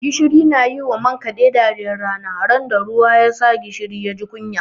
Gishiri na yi wa man kaɗe dariyar rana, ran da ruwa ya za gishiri ya ji kunya.